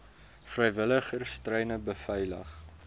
vrywilligers treine beveilig